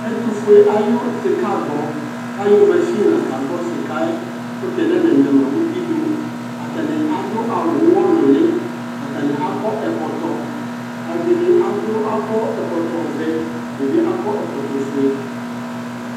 Ɛtʋfue ayʋ sɩkaagbɔ kʋ ayɔ masin la kagbɔ sɩka yɛ kʋ tɛ nananyama uti dʋ Atanɩ adʋ awʋ ʋɣɔnʋlɩ, atanɩ akɔ ɛkɔtɔ Ɛdɩ adʋ akɔ ɛkɔtɔvɛ, ɛdɩnɩ bɩ akɔ ɛkɔtɔfue